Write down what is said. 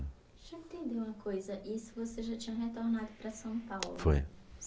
Já teve uma coisa, isso você já tinha retornado para São Paulo. Foi.